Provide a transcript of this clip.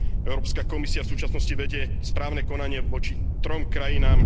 Európska komisia v súčasnosti vedie správne konanie voči trom krajinám.